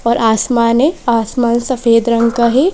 और आसमान है आसमान सफेद रंग का है।